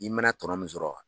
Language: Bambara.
I mana tɔnɔn min zɔrɔ wa